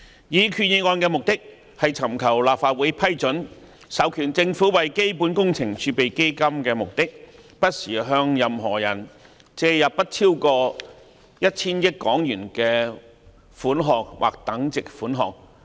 擬議決議案的目的是尋求立法會批准，授權政府為基本工程儲備基金的目的，不時向任何人借入不超過 1,000 億港元的款項或等值款項。